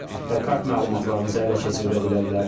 Sizin kart məlumatlarınızı ələ keçirdə bilərlər.